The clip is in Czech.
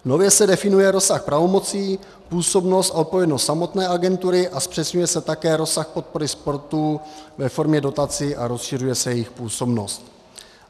Nově se definuje rozsah pravomocí, působnost a odpovědnost samotné agentury a zpřesňuje se také rozsah podpory sportu ve formě dotací a rozšiřuje se jejich působnost.